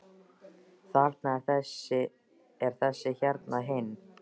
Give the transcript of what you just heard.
Þarna er þessi og hérna hinn.